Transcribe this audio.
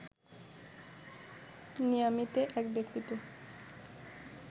মিয়ামিতে এক ব্যক্তিকে